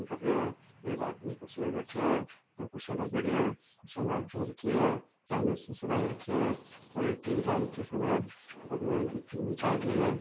कर रे है एक आदमी कुर्सी पर बैठे है दो कुर्सियां लागेड़ी है कुर्सियां रखी है सामने शीशो लाग रखयो है और एक टी वी लाग रखी है सामने और बी मायने चाल री है।